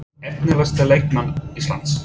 Efnilegasti leikmaður Íslands?